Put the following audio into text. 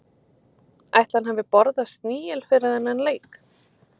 Ætli hann hafi borðað snigil fyrir þennan leik?